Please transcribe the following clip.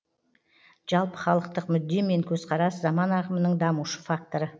жалпы халықтық мүдде мен көзқарас заман ағымының дамушы факторы